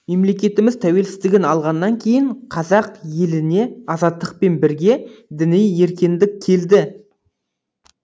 мемлекетіміз тәуелсіздігін алғаннан кейін қазақ еліне азаттықпен бірге діни еркендік келді